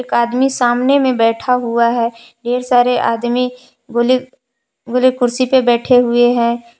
आदमी सामने में बैठा हुआ है ढेर सारे आदमी बुली बुली कुर्सी पर बैठे हुए हैं।